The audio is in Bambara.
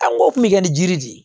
An k'o kun bɛ kɛ ni jiri de ye